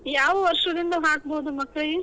ಯಾವ ವರ್ಷದಿಂದ ಹಾಕ್ಬೋದು ಮಕ್ಳ?